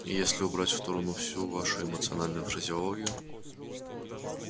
и если убрать в сторону всю вашу эмоциональную фразеологию